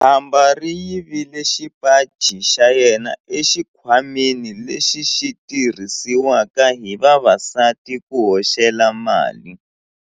Khamba ri yivile xipaci xa yena exikhwameni lexi xi tirhisiwaka hi vavasati ku hoxela mali.